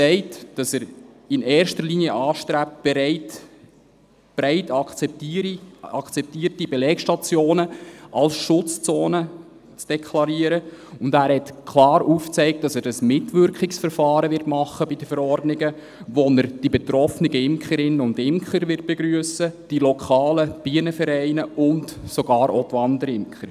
Er hat gesagt, dass er in erster Linie anstrebt, breit akzeptierte Belegstationen als Schutzzonen zu deklarieren, und er hat klar aufgezeigt, dass er ein Mitwirkungsverfahren bei den Verordnungen machen wird, wo er die betroffenen Imkerinnen und Imker begrüssen wird, die lokalen Bienenvereine und sogar auch die Wanderimker.